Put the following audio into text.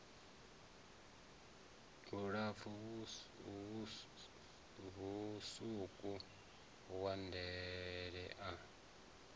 mulapfu mutswuku wa ndele a